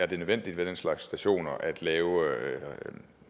det nødvendigt ved den slags stationer at lave